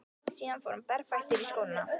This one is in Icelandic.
Síðan fór hann berfættur í skóna.